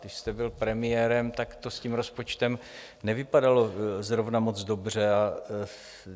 Když jste byl premiérem, tak to s tím rozpočtem nevypadalo zrovna moc dobře.